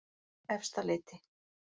Efstaleiti